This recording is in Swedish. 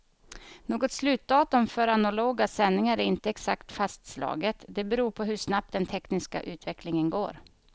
Något slutdatum för analoga sändningar är inte exakt fastslaget, det beror på hur snabbt den tekniska utvecklingen går.